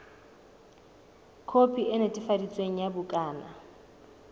khopi e netefaditsweng ya bukana